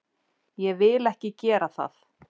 Ég vil ekki gera það.